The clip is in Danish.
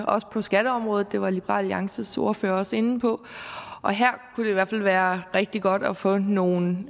også på skatteområdet det var liberal alliances ordfører også inde på og her kunne det i hvert fald være rigtig godt at få nogle